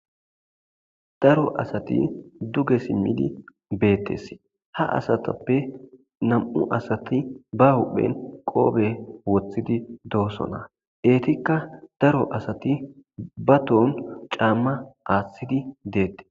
Daro asati duge simmidi beettes ha asatappe nam7u asati ba huhphen qoobe wothidi doosona eetikka daro asati ba ton caamma aaththidi deettes.